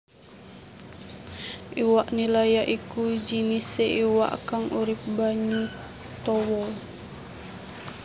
Iwak nila ya iku jinisé iwak kang urip banyu tawa